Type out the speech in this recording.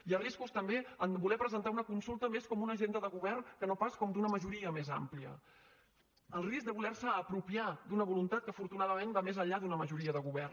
hi ha riscos també de voler presentar una consulta més com una agenda de govern que no pas com d’una majoria més àmplia el risc de voler se apropiar d’una vo luntat que afortunadament va més enllà d’una majoria de govern